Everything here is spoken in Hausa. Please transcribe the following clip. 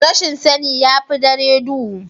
rashin sani ya fi dare duhu